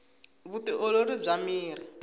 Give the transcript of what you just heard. vu ti olori bya miri